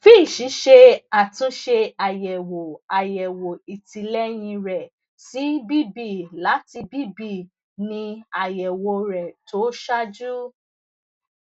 fitch ṣe àtúnṣe àyẹwò àyẹwò ìtìlẹyìn rẹ sí bb láti bb ní àyẹwò rẹ tó ṣáájú